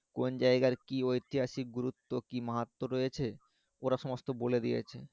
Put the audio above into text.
কোন জাইগার কি ঐতিহাসিক গুরুত্ব কি মাহাত্ত রয়েছে ওরা সমস্ত বলে দিয়েছে